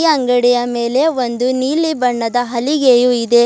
ಅಂಗಡಿಯ ಮೇಲೆ ಒಂದು ನೀಲಿ ಬಣ್ಣದ ಹಲಿಗೆಯು ಇದೆ.